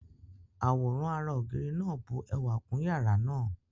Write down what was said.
Àwòrán ará-ògiri náà bu ẹwà kún yàrá náà.